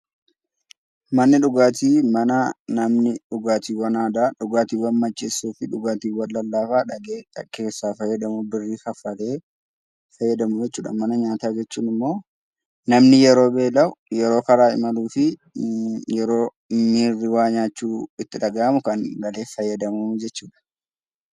Manneen dhugaatii mana namni dhugaatiiwwan aadaa dhugaatiiwwan macheessanii fi dhugaatiiwwan lallaafaa qarshii kaffalee fayyadamu jechuudha. Mana nyaataa jechuun immoo namni yeroo beela'u, karaa imaluu fi miirri waa nyaachuu itti dhagahamu fayyadamu jechuudha.